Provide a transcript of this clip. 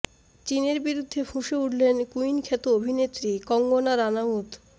চিনের বিরুদ্ধে ফুঁসে উঠলেন কুইন খ্যাত অভিনেত্রী কঙ্গনা রানাউত